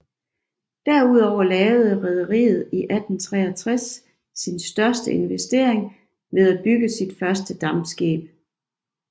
Derudover lavede rederiet i 1863 sin største investering ved at bygge sit første dampskib